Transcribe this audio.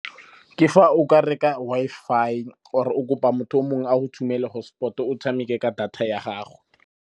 Ke fa o ka reka Wi-Fi or o kopa motho o mongwe a go tshumele hotspot, o tshameke ka data ya gago.